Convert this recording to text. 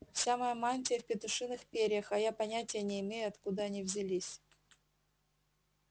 вся моя мантия в петушиных перьях а я понятия не имею откуда они взялись